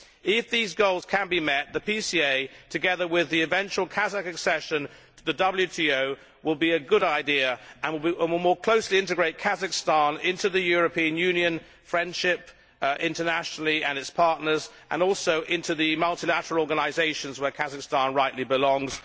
If these goals can be met, the PCA, together with the eventual Kazakh accession to the WTO, will be a good idea and will more closely integrate Kazahkstan into European Union friendship internationally, together with its partners, and also into the multilateral organisations where Kazahkstan rightly belongs.